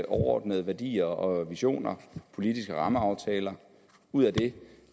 overordnede værdier og visioner og politiske rammeaftaler ud af det